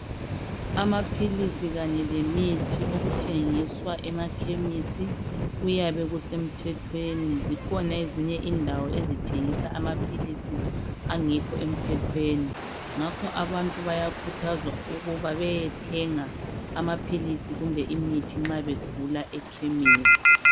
Amaphilisi kanye lemithi okuthengiswa emakhemisi kuyabe kusemthethweni, zikhona ezinye indawo ezithengisa amaphilisi okungekho emthethweni ngakho abantu bayakhuthazwa ukuthi bayethenga amaphilisi kumbe imithi nxa begula ekhemisi.